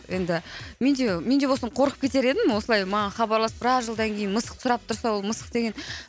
енді мен де мен де болсын қоркып кетер едім осылай маған хабарласып біраз жылдан кейін мысықты сұрап тұрса ол мысық деген